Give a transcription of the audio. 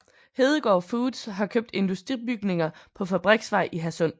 Hedegaard Foods har købt industribygninger på Fabriksvej i Hadsund